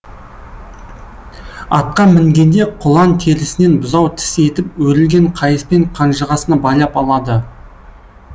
атқа мінгенде құлан терісінен бұзау тіс етіп өрілген қайыспен қанжығасына байлап алады